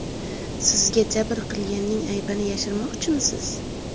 Sizga jabr qilganning aybini yashirmoqchimisiz?